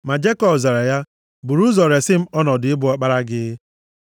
Ma Jekọb zara ya, “Buru ụzọ resi m ọnọdụ ịbụ ọkpara gị.”